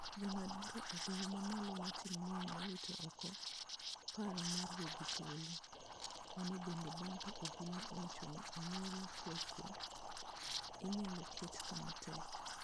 Jang'ad bura e doho mamalo Martin Muya nowito oko paro mar wegi thuolo. Mano bende bang' ka obila owacho ni anyuola KweKwe inyalo ket kama tek.